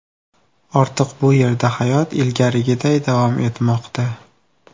Ortiq bu yerda hayot ilgarigiday davom etmoqda.